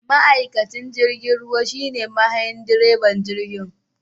Ma'aikacin jirgin ruwa shine mahayin / direban jirgi